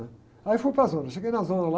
né? Aí eu fui para a zona, cheguei na zona lá,